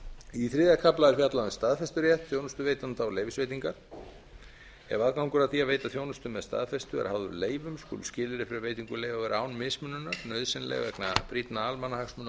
í þriðja kafla er fjallað um staðfesturétt þjónustuveitanda og leyfisveitingar ef aðgangur að því að veita þjónustu með staðfestu er háður leyfum skulu skilyrði fyrir veitingu leyfa vera án mismununar nauðsynleg vegna brýnna almannahagsmuna